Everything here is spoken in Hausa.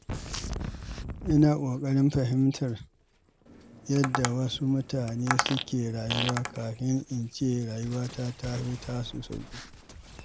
Ina ƙoƙarin fahimtar yadda wasu mutane suke rayuwa kafin in ce rayuwata ta fi tasu sauƙi.